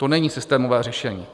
To není systémové řešení.